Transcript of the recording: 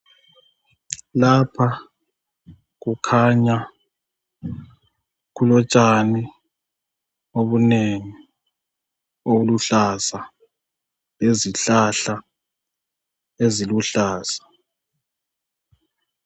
Iapha kukhanya kulotshani obunengi obuluhlaza lezihlahla eziluhlaza.